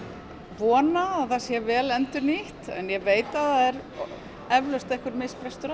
vona að það sé vel endurnýtt en ég veit að það er eflaust einhver misbrestur á